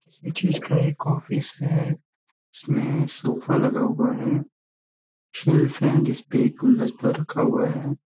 किसी चीज का एक ऑफिस है जिसमें सोफा लगा हुआ है शेल्फ है जिसपे गुलदस्ता रखा हुआ है।